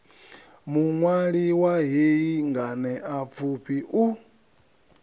muṅwali wa hei nganeapfufhi u